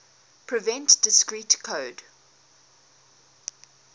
prevent discrete code